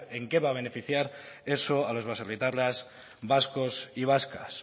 en qué va a beneficiar eso a los baserritarras vascos y vascas